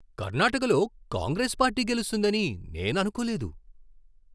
కర్ణాటకలో కాంగ్రెస్ పార్టీ గెలుస్తుందని నేను అనుకోలేదు.